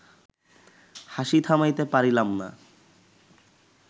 হাসি থামাইতে পারিলাম না